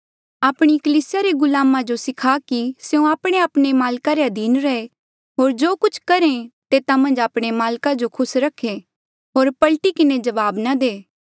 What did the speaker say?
आपणी कलीसिया रे गुलामा जो सखा कि स्यों आपणेआपणे माल्का रे अधीन रहे होर जो कुछ करहे तेता मन्झ आपणे माल्का जो खुस रखे होर पलटी किन्हें जवाब ना दे